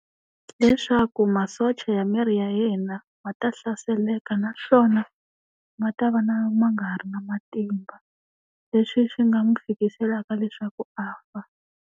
Leswaku masocha ya miri ya yena ma ta hlaseleka naswona, ma ta va na ma nga ha ri na matimba. Leswi swi nga n'wi fikiselaka leswaku a fa.